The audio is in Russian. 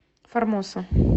формоса